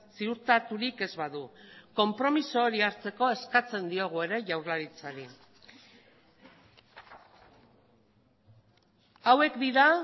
ziurtaturik ez badu konpromiso hori hartzeko eskatzen diogu ere jaurlaritzari hauek dira